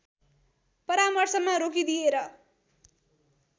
परामर्शमा रोकिदिएर